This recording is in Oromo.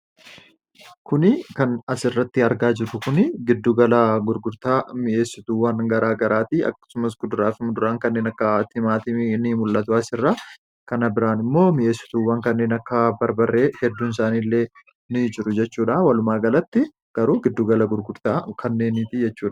kuni kan as irratti argaa jiru kun giddugala gurgurtaa mi'eessotuuwwan garaa garaatii akkasumas kuduraafima duraan kanneen akka timaati ni mul'atuu as irra kana biraan immoo mi'eessotuuwwan kanneen akka barbarree hedduun isaaniiillee ni jiru jechuudha walumaa galatti garuu giddugala gurgurtaa kannee ni tiyyachuuda